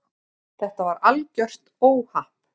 Þetta var algjört óhapp.